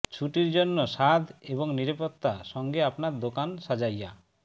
ছুটির জন্য স্বাদ এবং নিরাপত্তা সঙ্গে আপনার দোকান সাজাইয়া